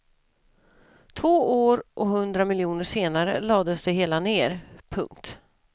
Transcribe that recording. Två år och hundra miljoner senare lades det hela ner. punkt